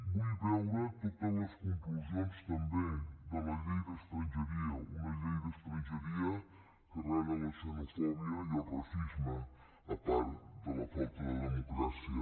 vull veure totes les conclusions també de la llei d’estrangeria una llei d’estrangeria que frega la xenofòbia i el racisme a part de la falta de democràcia